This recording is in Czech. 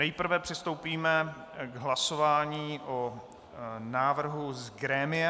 Nejprve přistoupíme k hlasování o návrhu z grémia.